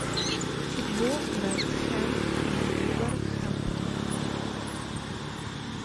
футбол вест хэм вулверхэмптон